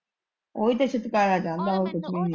ਉਹ ਵੀਂ ਤੇ ਛੁਟਕਾਰਾ ਚਾਹੁੰਦਾ ਏ ਹੋਰ ਕੁੱਛ ਵੀ ਨਹੀਂ ਏ।